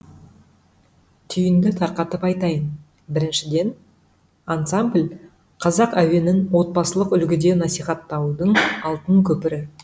түйінді тарқатып айтайын біріншіден ансамбль қазақ әуенін отбасылық үлгіде насихаттаудың алтын көпірі